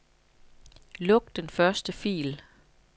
Luk den første fil.